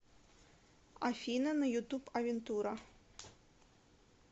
афина на ютуб авентура